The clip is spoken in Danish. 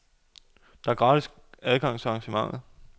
Der er gratis adgang til arrangementet.